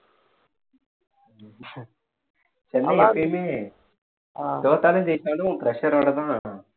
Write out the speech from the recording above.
சென்னை எப்போவுமே தோத்தாலும் ஜெயிச்சாலும் pressure ஓடதான்